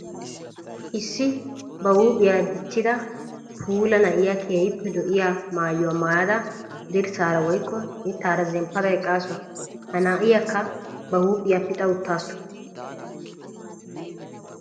Issi ba huuphiya dichchidda puula na'iya keehippe lo'iya maayuwa maayadda dirssara woykko mittara zemppadda eqqassu. Ha na'iyakka ba huuphiya pixa uttasu.